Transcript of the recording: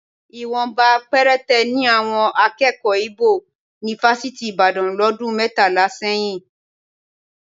Ìwọ̀nba péréte ni àwọn akẹ́kọ̀ọ́ Íbò ní fásitì Ìbàdàn lọ́dún mẹ́tàlá sẹ́yìn